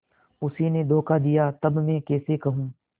उसी ने धोखा दिया तब मैं कैसे कहूँ